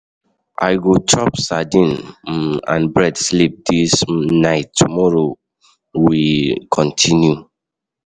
I go go chop sadin um and bread sleep dis um night, tomorrow we um continue.